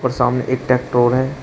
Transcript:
और सामने एक टैक्टर और है।